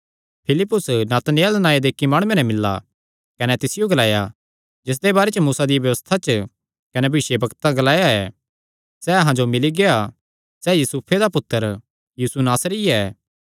फिलिप्पुस नतनएल नांऐ दे इक्की माणुये नैं मिल्ला कने तिसियो ग्लाया जिसदे बारे च मूसा दी व्यबस्था च कने भविष्यवक्तां ग्लाया ऐ सैह़ अहां जो मिल्ली गेआ सैह़ यूसुफे दा पुत्तर यीशु नासरी ऐ